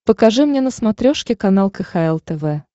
покажи мне на смотрешке канал кхл тв